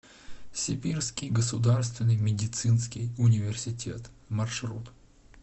сибирский государственный медицинский университет маршрут